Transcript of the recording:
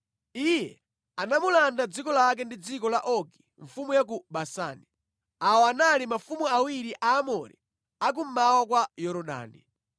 Iye anamulanda dziko lake ndi dziko la Ogi mfumu ya ku Basani. Awa anali mafumu awiri Aamori a kummawa kwa Yorodani.